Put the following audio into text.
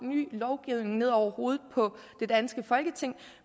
ny lovgivning ned over hovedet på det danske folketing